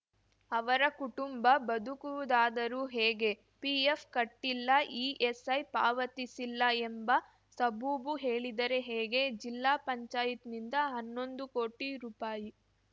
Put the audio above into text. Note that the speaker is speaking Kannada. ಅವರ ಕುಟುಂಬ ಬದುಕುವುದಾದರೂ ಹೇಗೆ ಪಿಎಫ್‌ ಕಟ್ಟಿಲ್ಲ ಇಎಸ್‌ಐ ಪಾವತಿಸಿಲ್ಲ ಎಂಬ ಸಬೂಬು ಹೇಳಿದರೆ ಹೇಗೆ ಜಿಲ್ಲಾ ಪಂಚಾಯತ್ ನಿಂದ ಹನ್ನೊಂದು ಕೋಟಿ ರೂಪಾಯಿ